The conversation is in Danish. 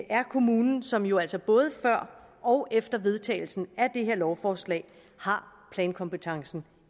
er kommunen som jo altså både før og efter vedtagelsen af det her lovforslag har plankompetencen